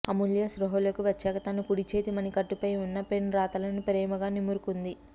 అమూల్య స్పృహలోకి వచ్చాక తన కుడి చేతి మని కట్టు పై ఉన్న పెన్ రాతలను ప్రేమగా నిమురుకుంది